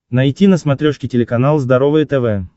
найти на смотрешке телеканал здоровое тв